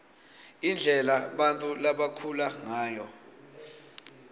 indlela bantfu labakhula ngayo